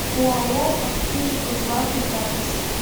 оао аптеки кузбасса запись